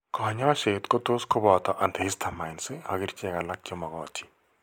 Kaany'ayseet ko tos' koboton antihistamines ak kerchel alak, che makatin.